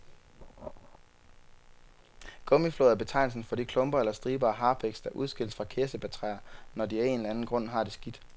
Gummiflåd er betegnelsen for de klumper eller striber af harpiks, der udskilles fra kirsebærtræer, når de af en eller anden grund har det skidt.